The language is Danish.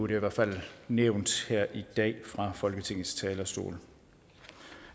i hvert fald nævnt her i dag fra folketingets talerstol